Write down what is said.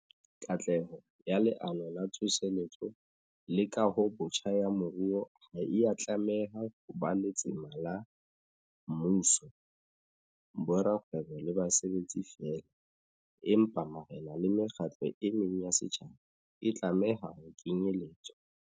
Katleho ya Leano la Tsose letso le Kahobotjha ya Moruo ha e a tlameha ho ba letsema la mmuso, borakgwebo le basebetsi feela, empa marena le mekgatlo e meng ya setjha ba e tlameha ho kenyeletswa.